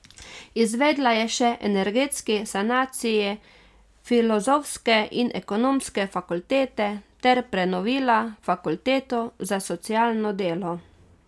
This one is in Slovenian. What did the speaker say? Izvedla je še energetski sanaciji filozofske in ekonomske fakultete ter prenovila fakulteto za socialno delo.